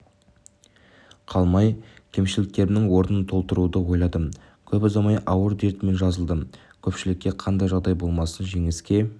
қалмай кемшіліктерімнің орнын толтыруды ойладым көп ұзамай ауыр дертімнен жазылдым көпшілікке қандай жағдай болмасын жеңіске